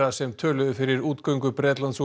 sem töluðu fyrir útgöngu Bretlands úr